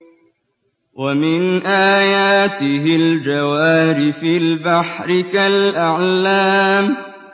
وَمِنْ آيَاتِهِ الْجَوَارِ فِي الْبَحْرِ كَالْأَعْلَامِ